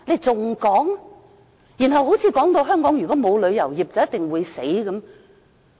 大家又說如果香港沒有旅遊業，便一定會完蛋。